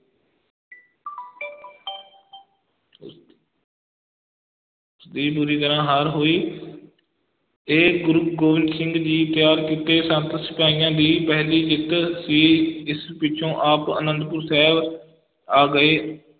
ਦੀ ਬੁਰੀ ਤਰ੍ਹਾਂ ਹਾਰ ਹੋਈ ਤੇ ਗੁਰੂ ਗੋਬਿੰਦ ਸਿੰਘ ਜੀ ਤਿਆਰ ਕੀਤੇ ਸੰਤ ਸਿਪਾਹੀਆਂ ਦੀ ਪਹਿਲੀ ਜਿੱਤ ਸੀ, ਇਸ ਪਿਛੋਂ ਆਪ ਆਨੰਦਪੁਰ ਸਾਹਿਬ ਆ ਗਏ।